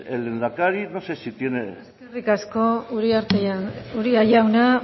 el lehendakari no sé si tiene eskerrik asko uria jauna